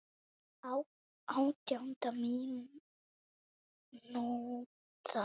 Átjánda mínúta.